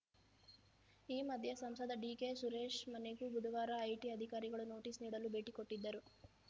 ಈ ಮಧ್ಯೆ ಸಂಸದ ಡಿಕೆ ಸುರೇಶ್‌ ಮನೆಗೂ ಬುಧುವಾರ ಐಟಿ ಅಧಿಕಾರಿಗಳು ನೋಟಿಸ್‌ ನೀಡಲು ಭೇಟಿ ಕೊಟ್ಟಿದ್ದರು